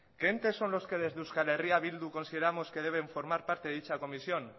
qué entes son los que desde euskal herria bildu consideramos que deben formar parte de dicha comisión